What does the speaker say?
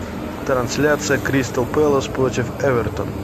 трансляция кристал пэлас против эвертон